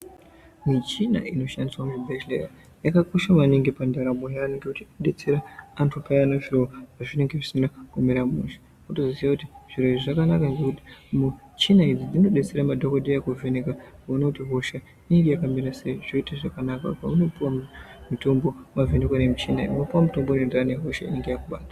Michina inoshandiswe muzvibhedhlera yakakosha maningi pandaramo yeantu ngekuti inodetsera antu paya zviro pazvinenge zvisina kumira mushe wotoziya kuti zviro izvi zvakanaka ngekuti michina idzi dzinodetsera madhokodheya kuona kuti hosha iyi inenge yakamira sei kuti zviite zvakanaka paunopuwa mutombo wavhenekwa nemichina iyi unopuwa mutombo unoenderana nehosha inenge yakubata.